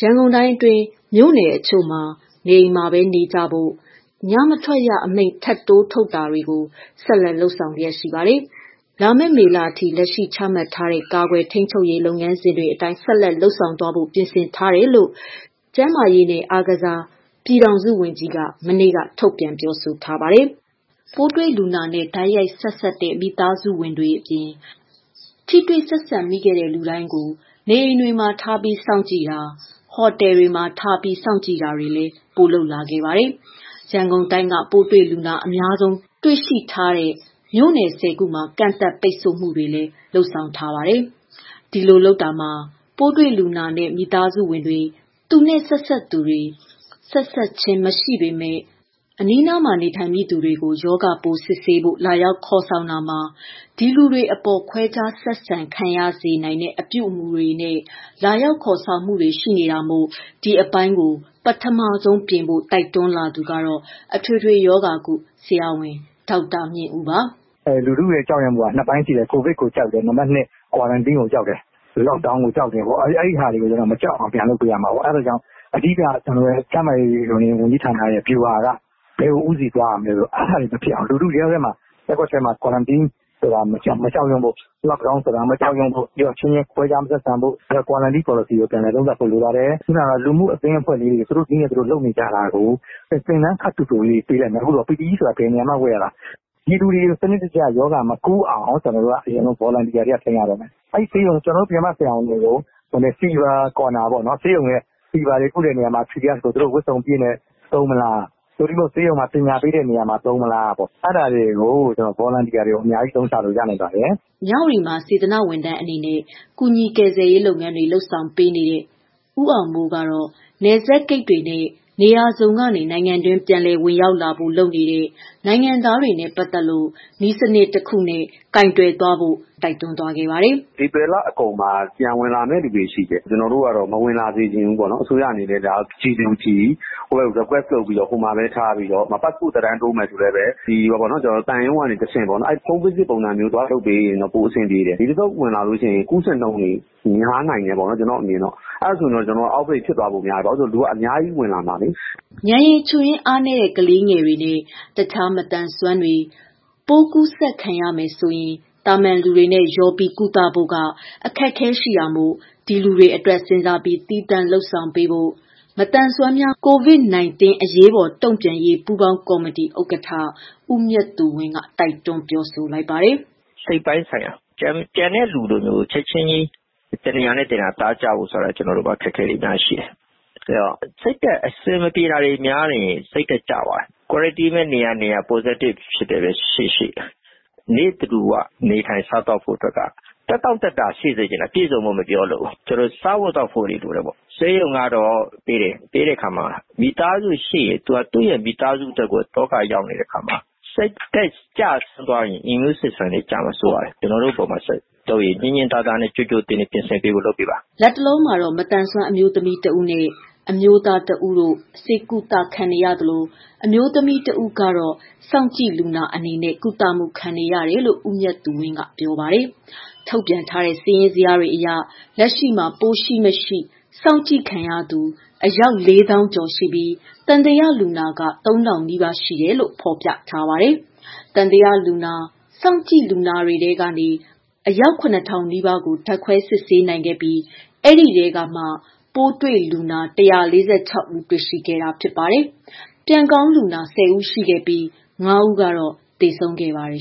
ရန်ကုန်တိုင်းအတွင်း မြို့နယ်တချို့မှာ နေအိမ်မှာပဲနေကြဖို့ ၊ ညမထွက်ရအမိန့်ထပ်တိုးထုတ်တာတို့ကို ဆက်လက် လုပ်ဆောင်လျက်ရှိပါတယ်။ လာမယ့် မေလအထိ လက်ရှိ ချမှတ်ထားတဲ့ ကာကွယ် ထိန်းချုပ်ရေး လုပ်ငန်းစဉ်တွေ အတိုင်း ဆက်လက် လုပ်ဆောင်သွားဖို့ ပြင်ဆင်ထားတယ်လို့ ကျန်းမာရေးနှင့် အားကစားဝန်ကြီး ပြည်ထောင်စုဝန်ကြီး က မနေ့က ထုတ်ပြန်ပြောဆို ထားပါတယ်။ ပိုးတွေ့လူနာနဲ့ တိုက်ရိုက် ဆက်စပ်တဲ့ မိသားစုဝင်တွေအပြင် ထိတွေ့ဆက်ဆံမိတဲ့လူတွေကို နေအိမ်တွေမှာထားစောင့်ကြည့်တာ၊ ဟိုတယ်တွေမှာ ထားစောင့်ကြည့် တာ တွေလည်း ပိုလုပ်လာပါတယ်။ ရန်ကုန် တိုင်းက ပိုးတွေ့လူနာ အများဆုံးတွေ့ရှိထားတဲ့အတွက် မြို့နယ် ၁၀ ခုမှာ ကန့်သတ် ပိတ်ဆို့မှုတွေလည်း လုပ်ထားပါတယ်။ ဒီလိုလုပ်တာမှာ ပိုးတွေ့လူနာနဲ့ မိသားစုဝင်တွေ၊ ဆက်စပ်သူတွေ၊ ဆက်စပ်ခြင်းမရှိဘဲ အနီးနား နေထိုင်မိ သူ တွေကိုလာ ရောက် ခေါ်ဆောင်မှုတွေမှာ ဒီလူတွေ အပေါ်ခွဲခြားဆက်ဆံခံရစေတဲ့ အပြုအမှုတွေနဲ့ လာရောက် ခေါ်ဆောင်မှု တွေရှိနေတာမို့ ဒီအပိုင်းကို ပထမဆုံးပြင်ဖို့ တိုက်တွန်းလာသူက အထွေထွေရောဂါကု ဆရာဝန် ဦးမြင့်ဦးပါ။ “ လူထုကြောက်တာက ၂ ပိုင်းရှိတယ်၊ COVID ကိုကြောက်တယ်၊ Quarantine ကိုကြောက်တယ်။ Lockdown ကိုကြောက်တယ်ပေါ့။ အဲဒါတွေကို မကြောက်အောင် ပြန်လုပ်ရမှာပေါ့။ အဓိက ကျနော်တို့ ကျန်းမာရေးဌာနရဲ့ ဗျူဟာက ဘယ်ကို ဦးတည်သွားရမလဲဆိုတော့ အဲဒါတွေမဖြစ်အောင် လူထုထဲမှာ Quarantine ကို မကြောက်ဖို့ Lockdown ကိုမကြောက်ဖို့ အချင်းချင်း ခွဲခြားဆက်ဆံတာမလုပ်ဖို့၊ Quarantine ပေါ်လစီသေချာသုံးသပ်ဖို့ လိုပါတယ်။ လူမှုအသင်းအဖွဲ့လေးတွေ သူတို့နည်းနဲ့ လုပ်နေကြတာကို သင်တန်း ခပ်တိုတိုလေးတွေ ပေးလိုက်မယ်၊ PPE ဆိုတာ ဘယ်နေရာမှာ ဝတ်ရတာ၊ ပြည်သူတွေကို ရောဂါမကူးအောင် စနစ်တကျ ကျနော်တို့ Volunteer တွေက ဆင်းရတော့မယ်။ ကျနော်တို့ ပြင်ပဆရာဝန်တွေကိုfever corner တွေပေါ့နော် သူတို့ ဝတ်စုံအပြည့်နဲ့ သုံးမလား ။ သို့မဟုတ်ဆေးရုံမှာ ပညာပေးတဲ့နေရာမှာ သုံးမလား အဲဒါတွေမှာ Volunteer တွေအများကြီး အသုံးချလို့ ရနိုင်ပါတယ်။” မြဝတီမှာ စေတနာဝန်ထမ်းအနေနဲ့ ကူညီကယ်ဆယ်ရေးလုပ်ငန်းတွေ လုပ်ဆောင်ပေးနေ တဲ့ ဦးအောင်မိုးကတော့ နယ်စပ် ဂိတ်တွေနဲ့ နေရာစုံကနေ နိုင်ငံတွင်း ပြန်လည်ဝင်ရောက်လာဖို့ လုပ်နေတဲ့ နိုင်ငံသားတွေနဲ့ ပတ်သတ်လို့ နည်းစနစ်တခု နဲ့ကိုင်တွယ်ဖို့ တိုက်တွန်းသွားပါတယ်။ “ဧပြီလအကုန်မှာ ပြန်ဝင်လာမယ့်သူတွေရှိတယ်။ ကျနော်တို့ကတော့ အဲလူတွေကိုမဝင်လာစေချင်ဘူး။ အစိုးရအနေနဲ့ G to G လုပ်တာ မျိုး request လုပ်ထားပြီး ပတ်စပို့သက်တမ်းတိုးမယ်ဆိုလဲ သံရုံးကနေတဆင့်တိုးတာ၊ Home Visit ပုံမျိုးလုပ်ရင်ပို အဆင်ပြေတယ်။ ဒီတခေါက်ဝင်လာရင် ပိုးကူးခံရတာ များနိုင်တယ်။ အဲဒါဆို Out Break ဖြစ်လာမှာစိုးရိမ် တယ်။ လူကအများကြီးဝင်လာမှာလေ။” ဉာဏ်ရည် ချို့ယွင်းအားနည်းတဲ့ ကလေးငယ်တွေနဲ့ တခြားမသန်စွမ်းတွေ ပိုးကူးစက်ခံရမယ်ဆိုရင် သာမန်လူတွေနဲ့ ရောပြီး ကုသဖို့မှာ အခက်အခဲတွေရှိတာမို့ ဒီလူတွေအတွက် စဉ်းစားပြီး သီးသန့် လုပ်ဆောင်ပေးဖို့ မသန်စွမ်း များ ကိုဗစ်နိုင်တင်းအရေးပေါ်တုံ့ပြန်ရေး ပူးပေါင်းကော်မတီဥကဌ ဦးမြတ်သူဝင်းက တိုက်တွန်းလိုက်ပါတယ်။ “ စိတ်ပိုင်းဆိုင်ရာ ကျန်တဲ့လူတွေကို ချက်ချင်း တနေရာနဲ့ တနေရာ နေသားကျဖို့ဆိုတာ ကျနော်တို့မှာ အခက်အခဲတွေ အများကြီးရှိတယ်။ စိတ်ဓါတ်အဆင်မပြေတာတွေ များရင် စိတ်ဓါတ်ကျသွားတယ်။ Quarantine ပဲ နေရနေရ Positive ပဲ ရှိရှိ နေ့တဓူ၀ နေထိုင်စားသောက်ဖို့က သက်တောင့်သက်သာရှိစေချင်တယ်။ ပြည့်စုံဖို့ မပြောလိုဘူး ကျနော်တို့ စားဖို့ သောက်ဖို့တွေလိုတယ်ပေါ့။ ဆေးရုံကတော့ ပေးတယ်၊ ပေးတဲ့အခါမှာ မိသားစုရှိရင် သူ့မိသားစုအတွက်ကို အတော်လေး ဒုက္ခရောက်နေတဲ့အခါမှာ စိတ်ဓါတ်ကျသွားရင် immune system တွေကျမှာ စိုးရတယ်။ ကျနော်တို့အပေါ်မှာ ညှင်ညှင်သာသာနဲ့ ကြိုကြိုတင်တင် ပြင်ဆင်ပေးဖို့ လုပ်ပေးပါ။” လတ်တလော မသန်စွမ်းအမျိုးသမီးတစ်ဦးနှင့် အမျိုးသားတစ်ဦးတို့ ဆေးကုသခံနေရသလို အမျိုးသမီး တဦး စောင့်ကြည့်လူနာ အနေနဲ့ ကုသမှုခံနေရတယ်လို့ ဦးမြတ်သူဝင်းက ပြောပါတယ်။ ထုတ်ပြန်ထားတဲ့ စာရင်းဇယားတွေအရ လက်ရှိမှာ ပိုးရှိမရှိ စောင့်ကြည့်ခံနေသူ လေးသောင်းကျော်ရှိပြီး သံသယလူနာက ၃၀၀၀နီးပါး ရှိတယ်လို့ ဖော်ပြထားပါတယ်။ သံသယလူနာ၊ စောင့်ကြည့်လူနာတွေထဲကမှ အယောက် ၇၀၀၀ နီးပါးကို ဓာတ်ခွဲစစ်ဆေး နိုင်ခဲ့ပြီး ဒီထဲကမှ ပိုးတွေ့လူနာ ၁၄၆ဦးတွေ့ရှိခဲ့ပြီး ဖြစ်ပါတယ်။ ပြန်ကောင်းလူနာ ၁၀ဦးရှိခဲ့ပြီး ၅ဦးသေဆုံးခဲ့ပါ တယ်